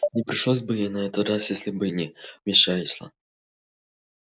не пришлось бы и на этот раз если бы ты не вмешался